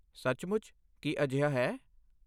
ਸੱਚਮੁੱਚ, ਕੀ ਅਜਿਹਾ ਹੈ?